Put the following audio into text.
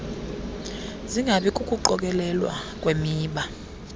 singabi kukuqokelelwa kwemiba